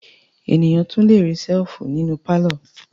Ènìyàn tún le rí ṣẹ́lífù nínú pálọ̀.